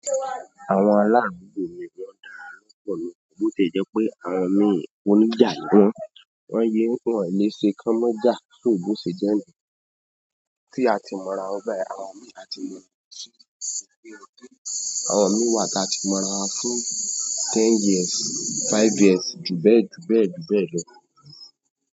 Àwọn aláàbò mìíràn dára lọ́pọ̀ ni, bó ti jẹ́ pé àwọn mi oníjà ni wọ́n, wọ́n yé wọn lè ṣe kán mọ́jà sóbó ṣe jẹ́ ni. Tí a ti mọ ra ọ́ báyìí, àwọn mi a ti mọ̀ ọ́ sí ìpínlẹ̀ Ọ̀yọ́. Àwọn mi wà tí a ti mọ̀ ra fún ten years, five years, ju bẹ́ẹ̀ ju bẹ́ẹ̀ ju bẹ́ẹ̀ lọ.